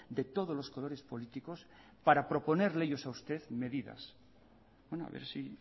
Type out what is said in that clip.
de todos los colores políticos para proponerle ellos a usted medidas bueno a ver si